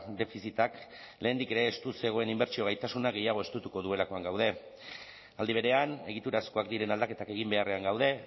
defizitak lehendik ere estu zegoen inbertsio gaitasunak gehiago estutuko duelakoan gaude aldi berean egiturazkoak diren aldaketak egin beharrean gaude